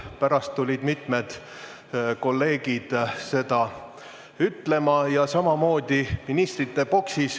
Pärast tulid mitmed kolleegid seda ütlema, ja samamoodi oli ministrite boksis.